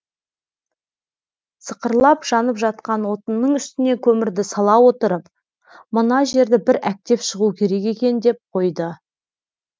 сықырлап жанып жатқан отынның үстіне көмірді сала отырып мына жерді бір әктеп шығу керек екен деп қойды